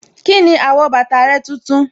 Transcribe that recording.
Kíni àwọ̀ bàtà rẹ tuntun.